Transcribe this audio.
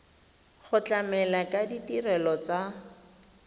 go tlamela ka ditirelo tsa